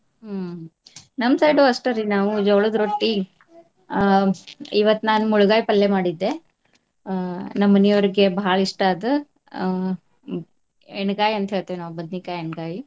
ಹ್ಮ್ ನಮ್ಮ side ಉ ಅಷ್ಟರಿ ನಾವು ಜೋಳದ ರೊಟ್ಟಿ ಆ ಇವತ್ತ್ ನಾನ್ ಮುಳಗಾಯಿ ಪಲ್ಯಾ ಮಾಡಿದ್ದೆ. ಆ ನಮ್ಮ್ ಮನಿಯವ್ರಿಗೆ ಬಾಳ ಇಷ್ಟಾ ಅದ್. ಆ ಹ್ಮ್ ಎಣ್ಗಾಯಿ ಅಂತ ಹೇಳ್ತೇವ ನಾವ್ ಬದ್ನಿಕಾಯ್ ಎಣ್ಗಾಯಿ.